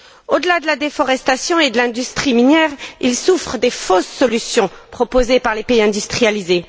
Au delà de la déforestation et de l'industrie minière, ils souffrent des fausses solutions proposées par les pays industrialisés.